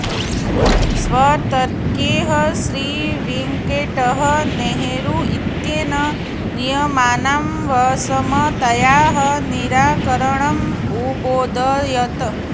स्वतर्कैः श्रीवेङ्कटः नेहरू इत्येनं नियमानां विसमतायाः निराकरणम् अबोधयत्